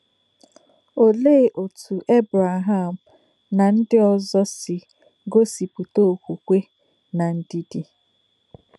Òlèé òtú Èbrèhàm nà ńdí òzọ̀ sì gòsìpùtà òkwùkwè nà ndídí?